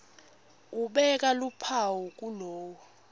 ubeka luphawu kulowo